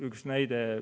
Üks näide.